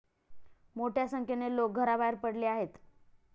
मोठ्या संख्येने लोकं घराबाहेर पडली आहेत.